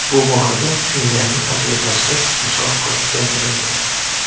Bu borada Finlyandiya tajribasi misol qilib keltirildi.